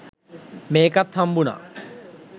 මේකත් හම්බුනා